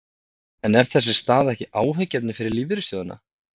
En er þessi staða ekki áhyggjuefni fyrir lífeyrissjóðina?